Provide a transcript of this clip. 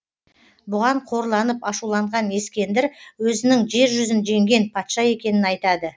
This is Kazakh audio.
бұған қорланып ашуланған ескендір өзінің жер жүзін жеңген патша екенін айтады